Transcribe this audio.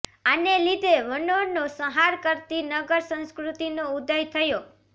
આને લીધે વનોનો સંહાર કરતી નગર સંસ્કૃતિનો ઉદય થયો